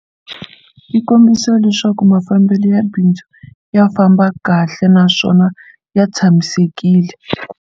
Swi kombisa leswaku mafambelo ya bindzu ya famba kahle naswona ya tshamisekile.